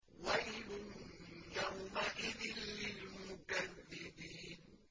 وَيْلٌ يَوْمَئِذٍ لِّلْمُكَذِّبِينَ